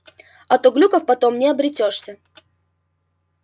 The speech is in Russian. а то глюков потом не обретёшься